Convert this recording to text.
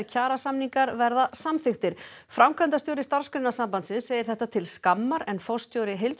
kjarasamningar verða samþykktir framkvæmdastjóri Starfsgreinasambandsins segir þetta til skammar en forstjóri